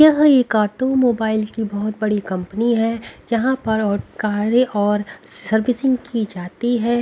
यह एक ऑटोमोबाइल की बहुत बड़ी कंपनी है यहां पर औ कारें और सर्विसिंग की जाती है।